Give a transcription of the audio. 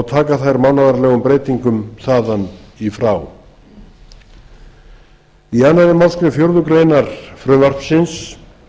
taka þær mánaðarlegum breytingum þaðan í frá í annarri málsgrein fjórðu grein frumvarpsins